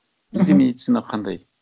мхм бізде медицина қандай